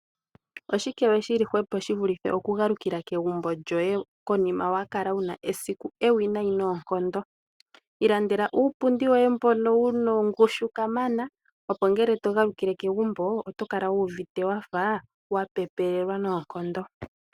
Oshike we shili hwepo shivulithe okugalukila kegumbo lyoye konima wakala wuna esiku ewinayi noonkondo. ilandela uupundi woye mbono wuna ongushu kamana opo mgele togalukile kegumbo otokala wuuvite wapepelelwa noonkondo.